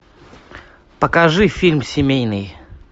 покажи фильм семейный